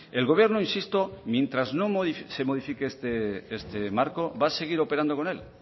el gobierno insisto mientras no se modifique este marco va a seguir operando con él